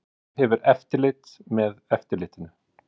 Hver hefur eftirlit með eftirlitinu?